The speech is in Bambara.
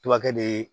Tubakɛ de